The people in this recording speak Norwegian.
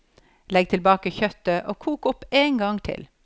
Legg tilbake kjøttet og kok opp en gang til.